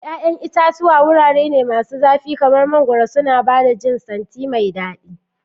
Ya'yan itatuwa wurare masu zafi kamar mangoro suna ba da jin santi mai daɗi.